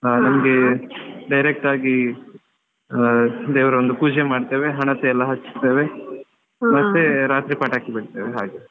ಹಾ ನಮ್ಗೆ direct ಆಗಿ ಹ ದೇವ್ರ ಒಂದು ಪೂಜೆ ಮಾಡ್ತೇವೆ ಹಣತೆಯೆಲ್ಲ ಹಚ್ತೇವೆ ಮತ್ತೆ ರಾತ್ರಿ ಪಟಾಕಿ ಬಿಡ್ತೇವೆ ಹಾಗೆ.